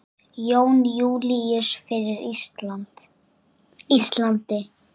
Jón Júlíus: Fyrir Íslandi?